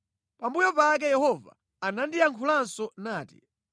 Pambuyo pake Yehova anandiyankhulanso nati,